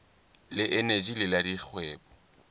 le eneji le la dikgwebo